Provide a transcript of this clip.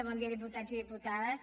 bon dia diputats i diputades